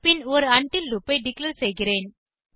பின் ஒரு உண்டில் லூப் ஐ டிக்ளேர் செய்கிறேன்